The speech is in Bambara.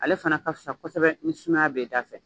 Ale fana ka fisa kosɛbɛ ni sumaya b'e dafɛ.